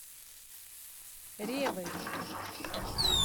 ревой